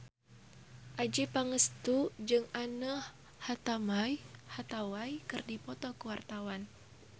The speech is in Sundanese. Adjie Pangestu jeung Anne Hathaway keur dipoto ku wartawan